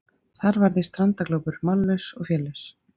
Þar varð ég strandaglópur, mállaus og félaus.